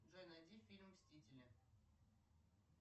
джой найди фильм мстители